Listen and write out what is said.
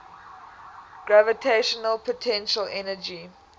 gravitational potential energy